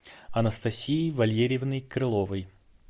анастасией валерьевной крыловой